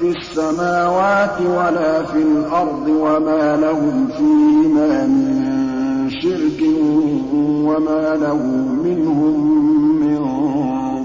فِي السَّمَاوَاتِ وَلَا فِي الْأَرْضِ وَمَا لَهُمْ فِيهِمَا مِن شِرْكٍ وَمَا لَهُ مِنْهُم مِّن